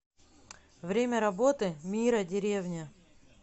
время работы мира деревня